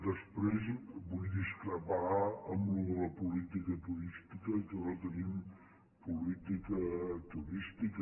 després vull discrepar en allò de la política turística que no tenim política turística